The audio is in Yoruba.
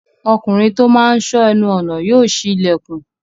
Ọkùnrin tó máa n sọ́ ẹnu ọnà yóò ṣí ilẹ̀kùn